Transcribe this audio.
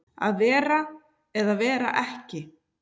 Að vera eða vera ekki